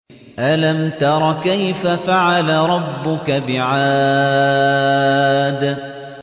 أَلَمْ تَرَ كَيْفَ فَعَلَ رَبُّكَ بِعَادٍ